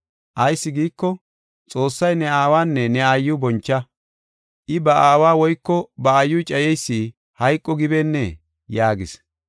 Ayis giiko, Xoossay, ‘Ne aawanne ne aayiw boncha. I ba aawa woyko ba aayiw cayeysi hayqo gibeennee?’ yaagis.